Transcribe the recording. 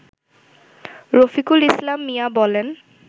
রফিকুল ইসলাম মিয়া বলেন